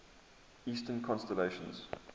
eastern constellations